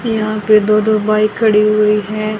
यहां पे दो दो बाइक खड़ी हुई है।